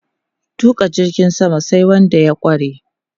Tuƙa jirgin sama sai wanda ya ƙware.